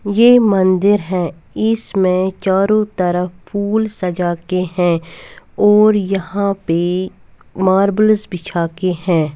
ये मंदिर है इसमें चारो तरफ फूल सजाते है और यहाँ पे मार्बल बिछा के है।